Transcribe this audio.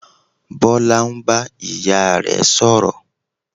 Bọlá ń bá ìyá rẹ̀ sọ̀rọ̀